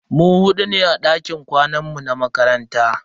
Mu hudu ne a dakin kwanan mu na makaranta.